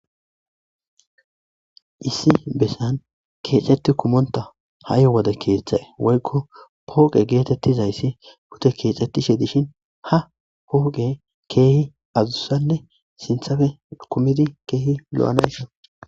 Issi besan keexetti kumonta ha'i wode keeththae woykko pooqe geetettizayssi hute keexxettishe dishin ha pooqe keehi azussanne sinthafe kumidi keehi lo'anashon